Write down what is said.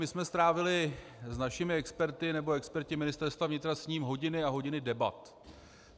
My jsme strávili s našimi experty, nebo experti Ministerstva vnitra, s ním hodiny a hodiny debat.